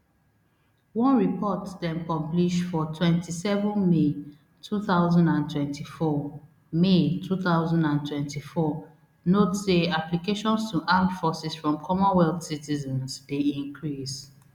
one report dem publish for twenty-seven may two thousand and twenty-four may two thousand and twenty-four note say applications to armed forces from commonwealth citizens dey increase